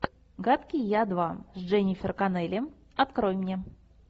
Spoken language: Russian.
гадкий я два с дженнифер коннелли открой мне